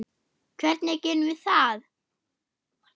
Hvernig gerum við það?